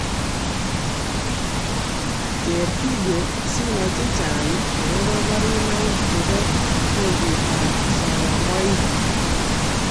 Keeer video sinai chechang agobaa barunaik chebaa mogonjweet ab soromaik